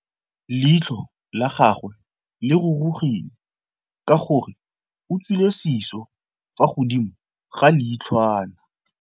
Leitlhô la gagwe le rurugile ka gore o tswile sisô fa godimo ga leitlhwana.